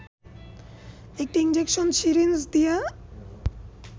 একটি injection syringe দিয়ে